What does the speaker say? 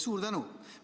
Suur tänu!